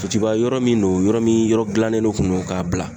Sotiba yɔrɔ min don, yɔrɔ min yɔrɔ gilannen de kun don k'a bila.